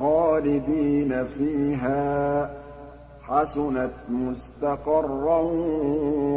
خَالِدِينَ فِيهَا ۚ حَسُنَتْ مُسْتَقَرًّا